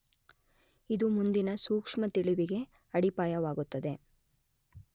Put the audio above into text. ಇದು ಮುಂದಿನ ಸೂಕ್ಷ್ಮ ತಿಳಿವಿಗೆ ಅಡಿಪಾಯವಾಗುತ್ತದೆ.